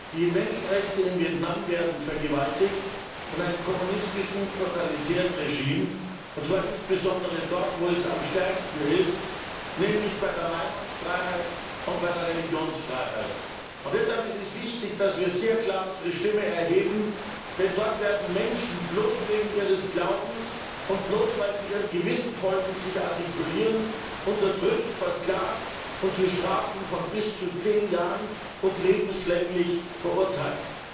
Die Menschenrechte in Vietnam werden vergewaltigt von einem kommunistischen, totalitären Regime, und zwar insbesondere dort, wo es am stärksten ist, nämlich bei der Meinungsfreiheit und bei der Religionsfreiheit. Deshalb ist es wichtig, dass wir sehr klar unsere Stimme erheben, denn dort werden Menschen bloß wegen ihres Glaubens und bloß, weil sie ihrem Gewissen folgend sich artikulieren, unterdrückt, versklavt und zu Strafen von bis zu zehn Jahren und lebenslänglich verurteilt.